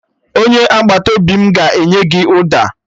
Onye agbata obi m ga-enye gị ụda